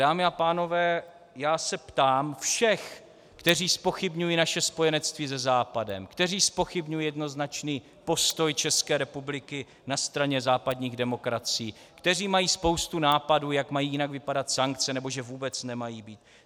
Dámy a pánové, já se ptám všech, kteří zpochybňují naše spojenectví se Západem, kteří zpochybňují jednoznačný postoj České republiky na straně západních demokracií, kteří mají spoustu nápadů, jak mají jinak vypadat sankce, nebo že vůbec nemají být.